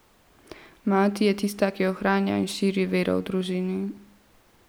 Mati je tista, ki ohranja in širi vero v družini.